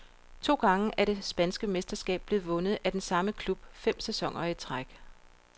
To gange er det spanske mesterskab blevet vundet af den samme klub fem sæsoner i træk.